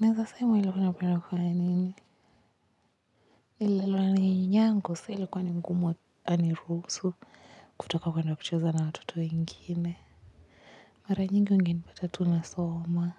naeza sema nilikuwa napenda kufanya nini. Nililelewa na nyanyangu so ilikuwa ni ngumu aniruhusu kwenda kucheza na watoto wengine mara nyingi ungenipata tu nasoma.